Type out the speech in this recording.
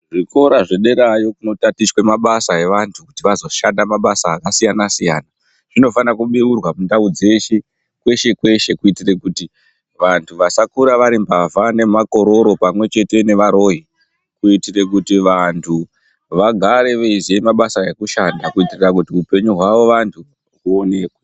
Zvikora zvederayo kunotatichwe mabasa evantu kuti vazoshanda mabasa akasiyana-siyana, zvinofana kubeurwa mundau dzeshe, kweshe-kweshe kuitire kuti vantu vasakura vari mbavha, nemakororo pamwe chete nevaroyi kuitire kuti vantu vagare veiziye mabasa ekushanda kuitire kuti upenyu hwavo vantu huonekwe.